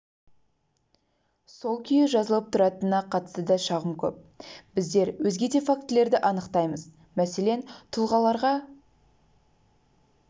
сол күйі жазылып тұратынына қатысты да шағым көп біздер өзге де фактілерді анықтаймыз мәселен тұлғаларға